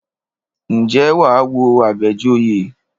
Ǹjẹ́ wà á wo Àbẹ̀joyè?